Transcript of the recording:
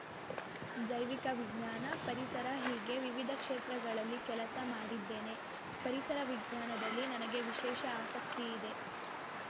ಜೈವಿಕ ವಿಜ್ಞಾನ ಪರಿಸರ ಹೀಗೆ ವಿವಿಧ ಕ್ಷೇತ್ರಗಳಲ್ಲಿ ಕೆಲಸ ಮಾಡಿದ್ದೇನೆ ಪರಿಸರ ವಿಜ್ಞಾನದಲ್ಲಿ ನನಗೆ ವಿಶೇಷ ಆಸಕ್ತಿಯಿದೆ